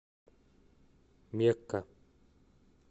мекка